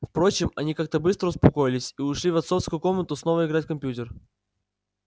впрочем они как-то быстро успокоились и ушли в отцовскую комнату снова играть в компьютер